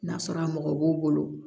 N'a sɔrɔ a mɔgɔ b'u bolo